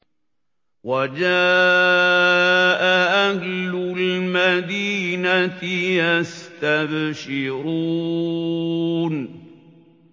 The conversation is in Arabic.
وَجَاءَ أَهْلُ الْمَدِينَةِ يَسْتَبْشِرُونَ